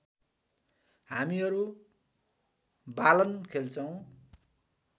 हामीहरू बालन खेल्छौँ